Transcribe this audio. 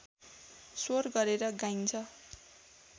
स्वर गरेर गाइन्छ